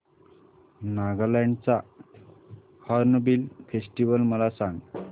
नागालँड चा hornbill festival मला सांग